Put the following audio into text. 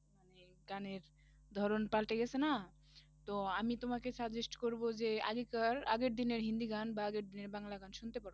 গানের ধরন পাল্টে গেছে না, তো আমি তোমাকে suggest করবো যে আগেকার আগের দিনের হিন্দি গান বা আগের দিনের বাংলা গান শুনতে পারো,